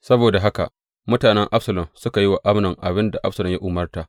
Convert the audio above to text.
Saboda haka mutanen Absalom suka yi wa Amnon abin da Absalom ya umarta.